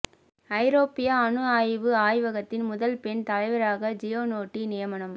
ஐரோப்பிய அணு ஆய்வு ஆய்வகத்தின் முதல் பெண் தலைவராக ஜியனோட்டி நியமனம்